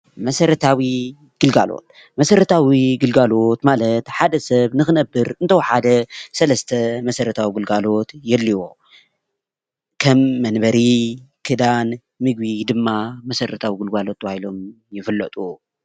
መሰረታዊ ግልጋሎት:‑ መሰረታዊ ግልጋሎት ማለት ሓደ ሰብ ንክነብር እንተወሓደ ሰለስተ መሰረታዊ ግልጋሎት የድልዮ። ከም መንበሪ፣ ክዳን፣ ምግቢ ድማ መሰረታዊ ግልጋሎት ተባሂሎም ይፍለጡ።